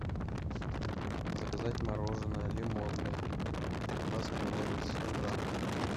заказать мороженое лимонное баскин роббинс сто грамм